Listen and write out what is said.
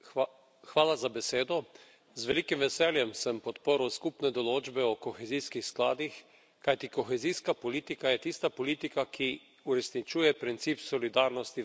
Z velikim veseljem sem podprl skupne določbe o kohezijskih skladih, kajti kohezijska politika je tista politika, ki uresničuje princip solidarnosti v Evropi.